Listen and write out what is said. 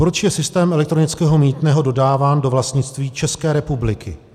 Proč je systém elektronického mýtného dodáván do vlastnictví České republiky?